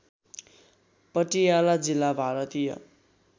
पटियाला जिल्ला भारतीय